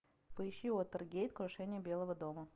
поищи уотергейт крушение белого дома